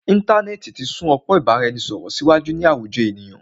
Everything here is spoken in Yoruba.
Íntanẹ́ẹ̀ti ti sún ọpọ́n ìbáraẹnisọ̀rọ̀ síwájú ní àwùjọ ènìyàn.